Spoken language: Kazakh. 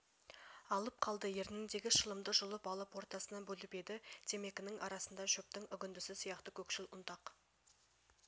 алып қалды ерніндегі шылымды жұлып алып ортасынан бөліп еді темекінің арасында шөптің үгіндісі сияқты көкшіл ұнтақ